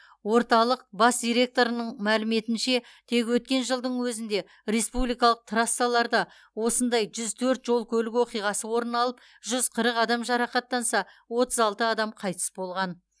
орталық бас директорының мәліметінше тек өткен жылдың өзінде республикалық трассаларда осындай жүз төрт жол көлік оқиғасы орын алып жүз қырық адам жарақаттанса отыз алты адам қайтыс болған